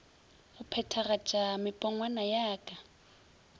go phethagatpa mepongwana ya ka